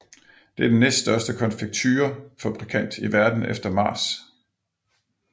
Det er den næststørste konfekturefabrikant i verden efter Mars